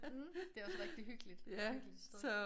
Mh det også rigtig hyggeligt hyggeligt sted